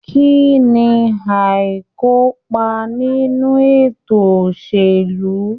Kínní aikopa nínú ètò òṣèlú?